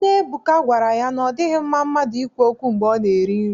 Nne Ebuka gwara ya na ọ dịghị mma mmadụ ikwu okwu mgbe ọ na-eri nri.